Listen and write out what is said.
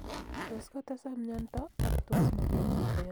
tos kotesak myanta ak tos mager chito ya inyaigey chito